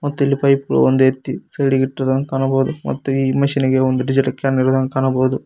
ಮತ್ತಿಲ್ pipe ಒಂದ ಎತ್ತಿ side ಇಟ್ಟಿದಾಂಗ ಕಾಣಬೋದು ಮತ್ತು ಈ ಮಷೀನಿಗೆ ಡೀಸೆಲ್ ಕ್ಯಾನ್ ಗಳನು ಕಾಣಬೋದು.